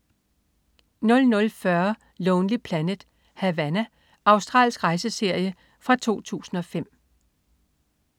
00.40 Lonely Planet: Havana. Australsk rejseserie fra 2005